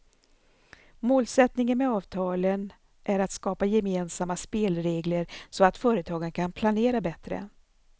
Målsättningen med avtalen är att skapa gemensamma spelregler så att företagen kan planera bättre.